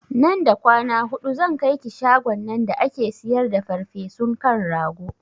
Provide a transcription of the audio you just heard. Nan da kwana hudu zan kaiki shagon nan da ake siyar da farfesun kan rago